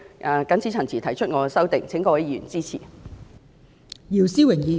我謹此陳辭，請各位議員支持我所提出的修正案。